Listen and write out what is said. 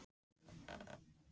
Ertu ekki örugglega að gefa blóð?